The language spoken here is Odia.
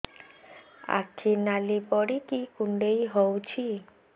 ଆଖି ନାଲି ପଡିକି କୁଣ୍ଡେଇ ହଉଛି